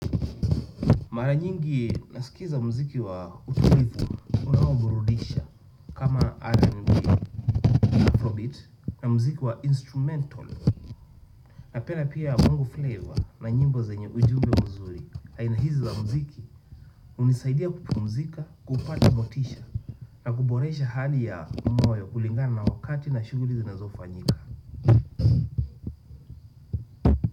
Mara nyingi nasikiza mziki wa utulivu unaoburudisha. Kama Afrobeat na mziki wa instrumental. Napenda pia bongo flava na nyimbo zenye ujumbe mzuri. Aina hizi za mziki hunisaidia kupumzika, kupata motisha na kuboresha hali ya moyo kulingana na wakati na shughuli zinazofanyika.